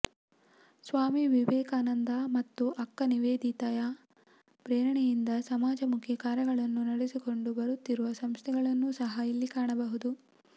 ಸ್ವಾಮಿ ವಿವೇಕಾನಂದ ಮತ್ತು ಅಕ್ಕ ನಿವೇದಿತೆಯ ಪ್ರೇರಣೆಯಿಂದ ಸಮಾಜಮುಖಿ ಕಾರ್ಯಗಳನ್ನು ನಡೆಸಿಕೊಂಡು ಬರುತ್ತಿರುವ ಸಂಸ್ಥೆಗಳನ್ನೂ ಸಹ ಇಲ್ಲಿ ಕಾಣಬಹುದು